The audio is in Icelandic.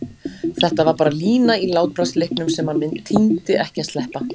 Þetta var bara lína í látbragðsleiknum sem hann tímdi ekki að sleppa.